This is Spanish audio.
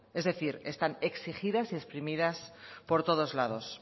es decir están exigidas y exprimidas por todos lados